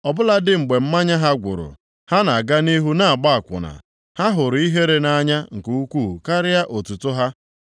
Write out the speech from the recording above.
Ọ bụladị mgbe mmanya ha gwụrụ, ha na-aga nʼihu na-agba akwụna; ha hụrụ ihere nʼanya nke ukwuu karịa otuto ha.